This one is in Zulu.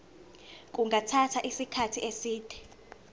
kungathatha isikhathi eside